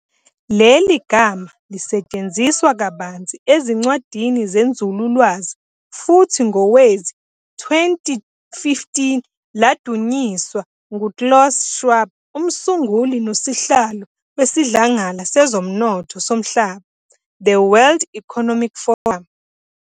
Leli gama lisetshenziswa kabanzi ezincwadini zenzululwazi, futhi ngowezi-2015 ladunyiswa ngu-Klaus Schwab, umsunguli nosihlalo wesiDlangala sezoMnotho soMhlaba, "The World Economic Forum".